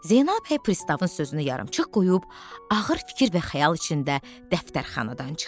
Zeynəb bəy Pristavın sözünü yarımçıq qoyub, ağır fikir və xəyal içində dəftərxanadan çıxdı.